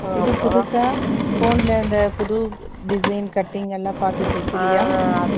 இது, புதுசா, phone ல, இந்த புது design , cutting எல்லாம், பாத்து தேய்க்கிறியா?